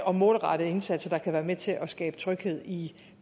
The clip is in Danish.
og målrettede indsatser der kan være med til at skabe tryghed i